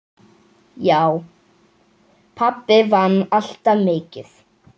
Já, pabbi vann alltaf mikið.